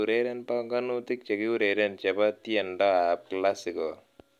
Ureren banganutik chekiureren chebo tiendoab Classical